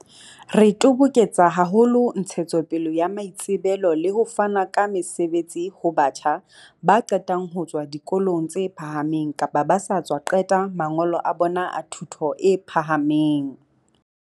Re toboketsa haholo ntshetsopele ya maitsebelo le ho fana ka mesebetsi ho batjha ba qetang ho tswa dikolong tse phahameng kapa ba sa tswa qeta mangolo a bona a thuto e pha hameng.